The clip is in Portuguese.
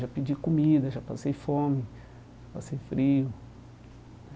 Já pedi comida, já passei fome, já passei frio.